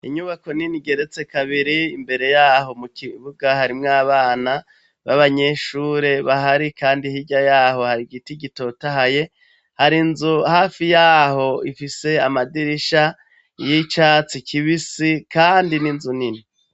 Inyubako nini igeretse kabiri, imbere yaho mu kibuga harimwo abana b'abanyeshure bahari kandi hirya yaho hari giti gitotahaye, hari inzu hafi yaho ifise amadirisha y'icatsi kibisi kandi ni inzu nini.